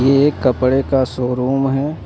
एक कपड़े का शोरूम है।